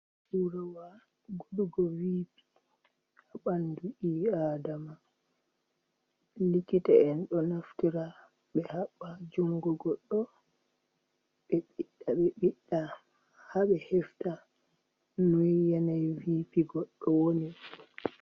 Naurawa gudugo viipi ha ɓandu ɓii adama, likita en ɗo naftira, ɓe haɓɓa jungo goɗɗo ɓe ɓiɗɗa ha ɓe hefta nu yanai viipi goɗɗo woni.